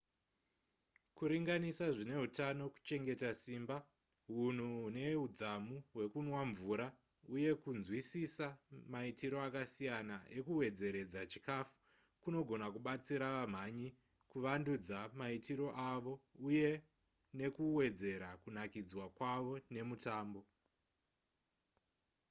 kuringanisa zvine hutano kuchengeta simba hunhu hune hudzamu hwekunwa mvura uye kunzwisisa maitiro akasiyana ekuwedzeredza chikafu kunogona kubatsira vamhanyi kuvandudza maitiro avo uye nekuwedzera kunakidzwa kwavo nemutambo